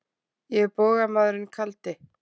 Ég er bogamaðurinn kaldi.